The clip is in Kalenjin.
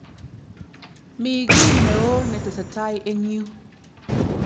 Mi ki ne oo ne tesetai eng yu